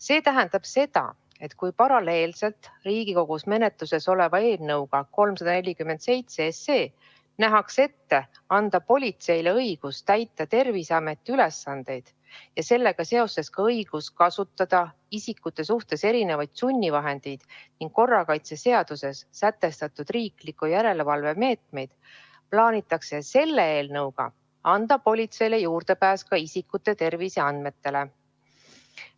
See tähendab seda, et kui paralleelselt Riigikogus menetluses oleva eelnõuga 347 nähakse ette anda politseile õigus täita Terviseameti ülesandeid ja sellega seoses ka õigus kasutada isikute suhtes erinevaid sunnivahendeid ning korrakaitseseaduses sätestatud riikliku järelevalve meetmeid, plaanitakse selle eelnõuga anda politseile juurdepääs ka isikute terviseandmetele.